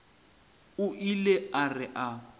o ile a re a